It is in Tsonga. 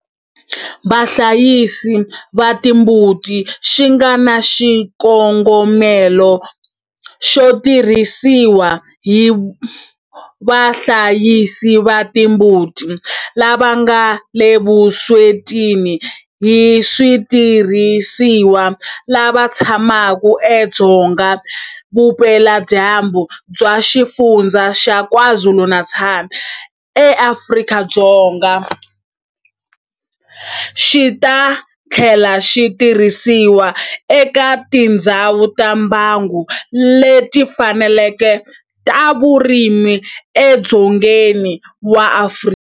Vahlayisi va timbuti xi nga na xikongomelo xo tirhisiwa hi vahlayisi va timbuti lava nga le vuswetini hi switirhisiwa lava tshamaka edzonga vupeladyambu bya Xifundzha xa KwaZulu-Natal eAfrika-Dzonga, xi ta tlhela xi tirhisiwa eka tindhawu ta mbango leti fanaka ta vurimi edzongeni wa Afrika.